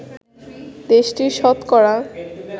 দেশটির শতকরা